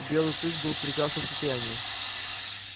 белый клык был в прекрасном состоянии